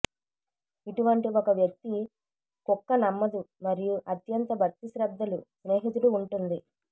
ఇటువంటి ఒక వ్యక్తి కుక్క నమ్మదు మరియు అత్యంత భక్తిశ్రద్ధలు స్నేహితుడు ఉంటుంది